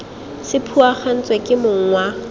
se phuagantswe ke mong wa